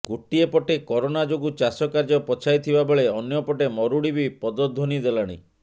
ଗୋଟିଏ ପଟେ କରୋନା ଯୋଗୁ ଚାଷ କାର୍ଯ୍ୟ ପଛାଇଥିବା ବେଳେ ଅନ୍ୟପଟେ ମରୁଡି ବି ପଦଧ୍ବନି ଦେଲାଣି